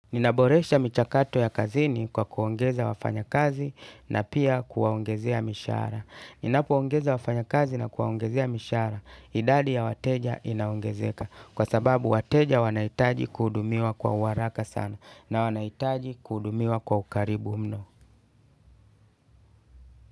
Ninaboresha michakato ya kazini kwa kuongeza wafanyakazi na pia kuwaongezea mishahara. Ninapoongeza wafanyakazi na kuwaongezea mishara, idadi ya wateja inaongezeka. Kwa sababu wateja wanaitaji kuudumiwa kwa uaraka sana na wanaitaji kuudumiwa kwa ukaribu mno.